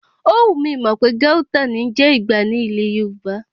Ówù, mi ò mọ̀ pé Gauta ní ń jẹ́ Ìgbá ní ilẹ̀ Yorùbá.